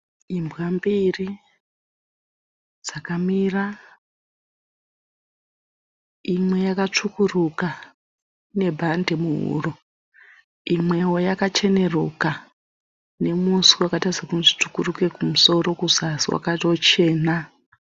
Imbwa mbiri dzakamira, imwe yakatsvukuruka ine bhadhi muhuro dzine, imweya kacheruke nemuswe wakati tsvukuruke kumusoro, kuzasi wakatochena.